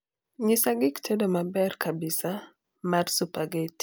nyisa gik tedo maber kabisa mar supergeti